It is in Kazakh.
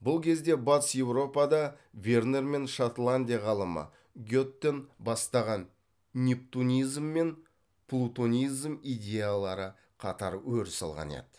бұл кезде батыс еуропада вернер мен шотландия ғалымы геттон бастаған нептунизм мен плутонизм идеялары қатар өріс алған еді